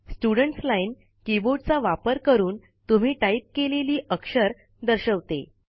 students line कीबोर्डचा वापर करून तुम्ही टाईप केलेली अक्षर दर्शवते